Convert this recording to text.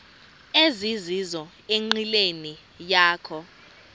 ezizizo enqileni yakho